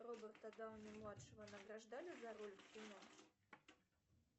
роберта дауни младшего награждали за роль в кино